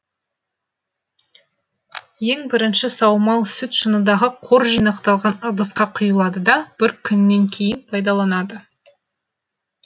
ең бірінші саумал сүт шыныдағы қор жинақталған ыдысқа кұйылады да бір күннен кейін пайдаланады